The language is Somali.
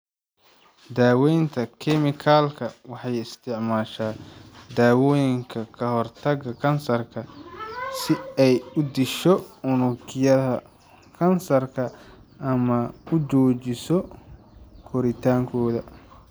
Daweynta kemikalka waxay isticmaashaa daawooyinka ka hortagga kansarka si ay u disho unugyada kansarka ama u joojiso koritaankooda.